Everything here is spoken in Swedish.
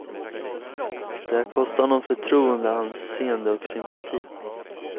Det har kostat honom förtroende, anseende och sympati.